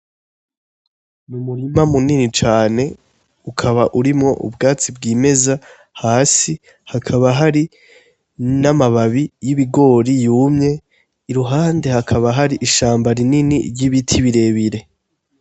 N'umurima munini cane ukaba urimwo ubwatsi bwimeza hasi hakaba hari n'amababi y'ibigori yumye iruhande hakaba har'ishamba rinini ry'ibiti birebire.